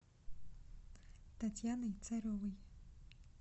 татьяной царевой